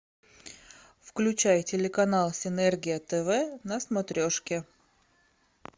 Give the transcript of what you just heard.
включай телеканал синергия тв на смотрешке